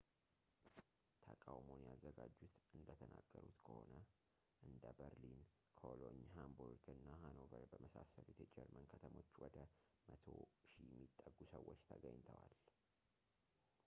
ተቃውሞውን ያዘጋጁት እንደተናገሩት ከሆነ እንደ berlin cologne hamburg እና hanover በመሳሰሉት የጀርመን ከተሞች ወደ 100,000 የሚጠጉ ሰዎች ተገኝተዋል